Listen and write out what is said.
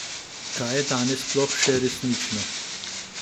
Kaj je danes sploh še resnično?